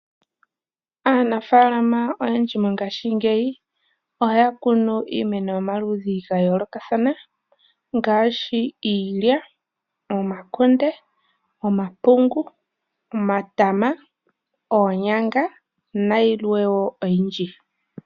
Aanafaalama oyendji mongashingeyi ohaya kunu iimeno yomaludhi ga yoolokathana ngaashi iilya, omakunde, omapungu, omatama, oonyanga nayilwe wo oyindji.